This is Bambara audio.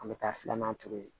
An bɛ taa filanan turu yen